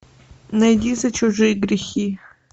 найди за чужие грехи